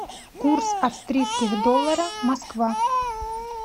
курс австрийских доллара москва